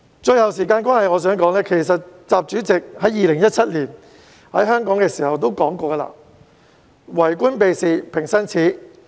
最後，由於時間關係，我想指出，習主席在2017年來香港的時候曾說，"為官避事平生耻"。